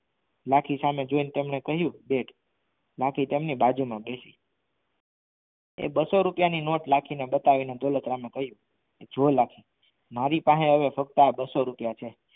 લાખી સહમે જોઈ ને કહ્યું કે લાખી તેમની બાજુમાં બેસી એ બસ્સો રૂપિયાની નોટ લાખી ને બતાવીને દોલતરામ એ કહ્યું જો લાખી મારી પાસે આ ખાલી બસ્સો રૂપિયા છે